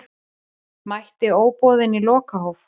Mætti óboðinn í lokahóf